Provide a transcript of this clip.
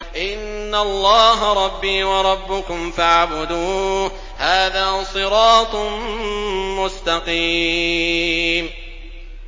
إِنَّ اللَّهَ رَبِّي وَرَبُّكُمْ فَاعْبُدُوهُ ۗ هَٰذَا صِرَاطٌ مُّسْتَقِيمٌ